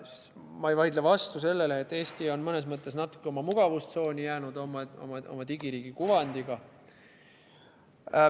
Ma ei vaidle vastu sellele, et Eesti on mõnes mõttes oma digiriigi kuvandiga natuke mugavustsooni jäänud.